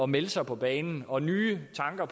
melde sig på banen og nye tanker